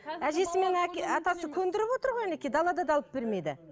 көндіріп отыр ғой әнекей далада да алып бермейді